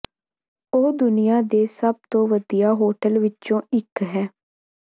ਉਹ ਦੁਨੀਆ ਦੇ ਸਭ ਤੋਂ ਵਧੀਆ ਹੋਟਲ ਵਿੱਚੋਂ ਇੱਕ ਹੈ